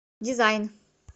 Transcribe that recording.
дизайн